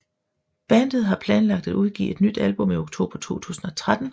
Bandet har planlagt at udgive et nyt album i oktober 2013